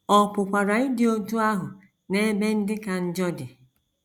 Ọ pụkwara ịdị otú ahụ n’ebe ndị ka njọ dị.